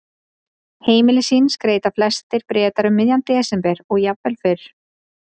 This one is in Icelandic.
Heimili sín skreyta flestir Bretar um miðjan desember og jafnvel fyrr.